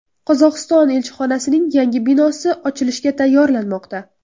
Qozog‘iston elchixonasining yangi binosi ochilishga tayyorlanmoqda.